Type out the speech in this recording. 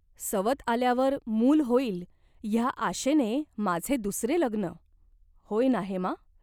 सवत आल्यावर मूल होईल ह्या आशेने माझे दुसरे लग्न. होय ना हेमा ?